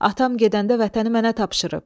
Atam gedəndə vətəni mənə tapşırıb.